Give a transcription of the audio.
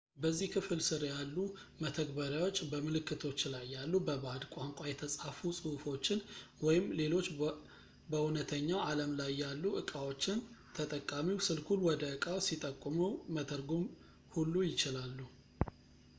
በዚህ ክፍል ስር ያሉ መተግበሪያዎች በምልክቶች ላይ ያሉ በባዕድ ቋንቋ የተፃፉ ጽሁፎችን ወይም ሌሎች በእውነተኛው አለም ላይ ያሉ ዕቃዎችን ተጠቃሚው ስልኩን ወደ እቃው ሲጠቁመው መተርጎም ሁሉ ይችላሉ